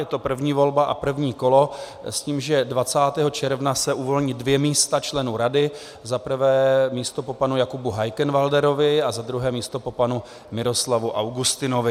Je to první volba a první kolo s tím, že 20. června se uvolní dvě místa členů rady, za prvé místo po panu Jakubu Heikenwälderovi a za druhé místo po panu Miroslavu Augustinovi.